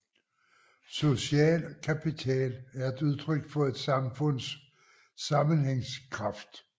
Social kapital er et udtryk for et samfunds sammenhængskraft